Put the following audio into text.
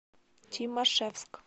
тимашевск